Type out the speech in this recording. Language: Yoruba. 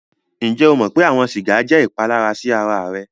Ǹjẹ o mọ̀ pé awọn sígà jẹ́ ìpàlàrà sí ara rẹ̀?